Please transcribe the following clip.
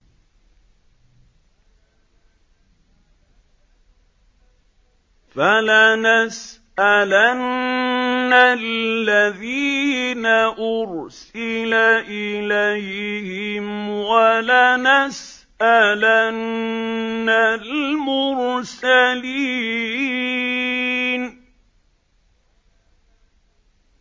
فَلَنَسْأَلَنَّ الَّذِينَ أُرْسِلَ إِلَيْهِمْ وَلَنَسْأَلَنَّ الْمُرْسَلِينَ